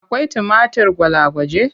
Akwai tumatir gwalagwaje?